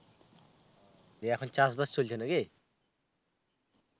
এই এখন চাষ বাস চলছে নাকি?